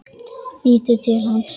Lítur til hans.